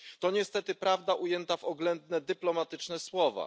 To niestety prawda ujęta w oględne dyplomatyczne słowa.